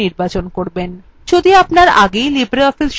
যদি আপনার আগেই libreoffice সংকলন ইনস্টল করা থাকে